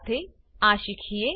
શાથે આ શીખીએ